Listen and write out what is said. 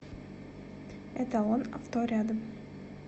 эталон авто рядом